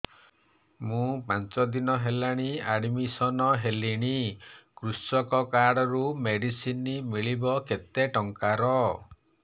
ମୁ ପାଞ୍ଚ ଦିନ ହେଲାଣି ଆଡ୍ମିଶନ ହେଲିଣି କୃଷକ କାର୍ଡ ରୁ ମେଡିସିନ ମିଳିବ କେତେ ଟଙ୍କାର